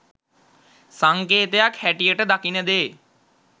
සංකේතයක් හැටියට දකින දේ